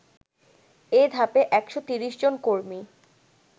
এ ধাপে ১৩০ জন কর্মী